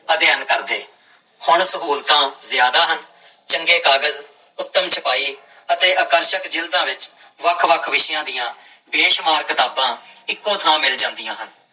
ਅਧਿਐਨ ਕਰਦੇ, ਹੁਣ ਸਹੂਲਤਾਂ ਜ਼ਿਆਦਾ ਹਨ, ਚੰਗੇ ਕਾਗਜ਼ ਉਤਮ ਛਪਾਈ ਅਤੇ ਆਕਰਸ਼ਕ ਜ਼ਿਲਦਾਂ ਵਿੱਚ ਵੱਖ ਵੱਖ ਵਿਸ਼ਿਆਂ ਦੀ ਬੇਸ਼ੁਮਾਰ ਕਿਤਾਬਾਂ ਇੱਕੋ ਥਾਂ ਮਿਲ ਜਾਂਦੀਆਂ ਹਨ।